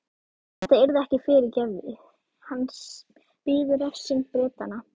Þetta yrði ekki fyrirgefið, hans biði refsing Bretanna.